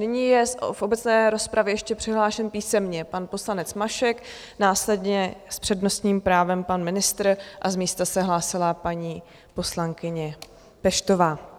Nyní je v obecné rozpravě ještě přihlášen písemně pan poslanec Mašek, následně s přednostním právem pan ministr a z místa se hlásila paní poslankyně Peštová.